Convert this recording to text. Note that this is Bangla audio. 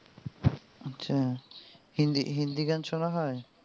আচ্ছা হিন্দি হিন্দি গান শোনা হয়?